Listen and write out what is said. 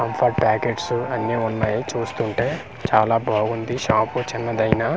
Comfort pockets అన్ని ఉన్నాయి చూస్తుంటే చాలా బాగుంది షాపు చిన్నది అయినా .